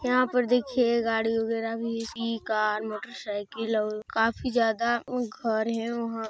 यहाँ पर देखिए गाड़ी वगेरा भी स्कूटी कार मोटरसाइकिल और काफ़ी ज़्यादा उ घर है वहां--